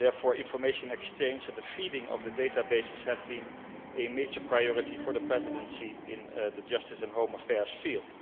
Therefore information exchange and the feeding of the databases have been a major priority for the Presidency in the Justice and Home Affairs field.